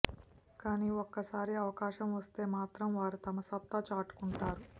కానీ ఒక్కసారి అవకాశం వస్తే మాత్రం వారు తమ సత్తా చాటుకుంటారు